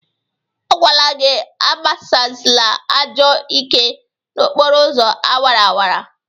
A gwala gị agbasịla ajọ ike n'okporo ụzọ awaraawara!